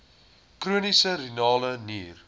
chroniese renale nier